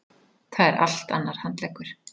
Það er allt annar handleggur.